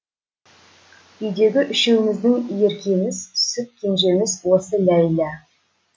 үйдегі үшеуміздің еркеміз сүт кенжеміз осы ләйлә